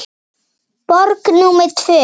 Borg númer tvö.